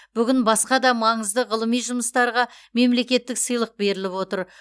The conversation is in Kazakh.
бүгін басқа да маңызды ғылыми жұмыстарға мемлекеттік сыйлық беріліп отыр